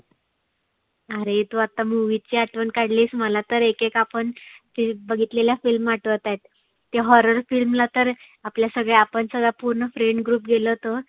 आरे तु आता movies ची आठवन काढलीस मला तर एक एक आपण ती बघितलेल्या film आठवताहेत. ते horror film ला तर आपल्या सगळ्या आपण सगळा friend group गेलो होतो.